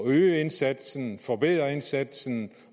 øge indsatsen forbedre indsatsen